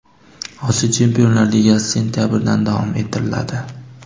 Osiyo Chempionlar Ligasi sentabrdan davom ettiriladi.